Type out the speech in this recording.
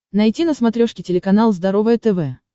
найти на смотрешке телеканал здоровое тв